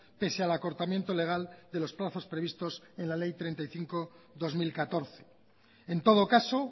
pese al acortamiento legal de los plazos previstos en la ley treinta y cinco barra dos mil catorce en todo caso